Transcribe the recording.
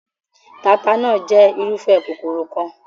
Taata náà jẹ́ irúfẹ́ kòkòrò kan.